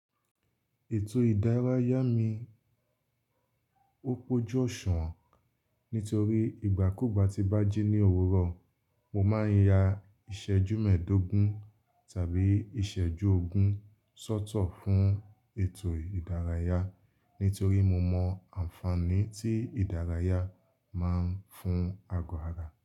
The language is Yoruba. Ètò ìdárayá mi, ó pojú ọ̀ṣunwọ́n. Nítorí ìgbàkúugbà tí n bá jí ní òwúrọ̀, mo máa ń ya ìsẹ́jú mẹ́ẹ̀dógún tàbí ìsẹ́jú ogún sọ́tọ̀ fún ètò ìdárayá. Nítorí mo mọ ànfaàní tí ìdárayá máa ń fún ago àrá.